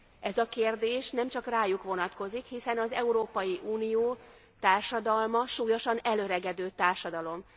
Ez a kérdés nem csak rájuk vonatkozik, hiszen az Európai Unió társadalma súlyosan elöregedő társadalom.